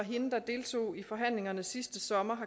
deltog i forhandlingerne sidste sommer